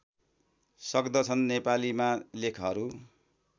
सक्दछन् नेपालीमा लेखहरू